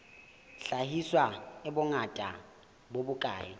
hlahiswa e bongata bo bokae